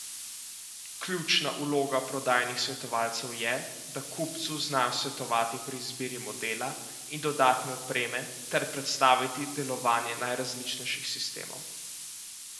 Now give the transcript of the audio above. Ključna vloga prodajnih svetovalcev je, da kupcu znajo svetovati pri izbiri modela in dodatne opreme ter predstaviti delovanje najrazličnejših sistemov.